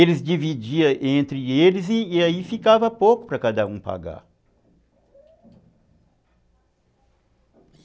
Eles dividiam entre eles e aí ficava pouco para cada um pagar.